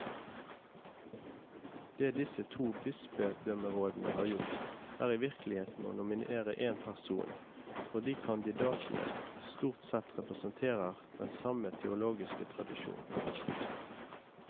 Det disse to bispedømmerådene har gjort, er i virkeligheten å nominere én person, fordi kandidatene stort sett representerer den samme teologiske tradisjon.